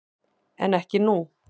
En ekki nú.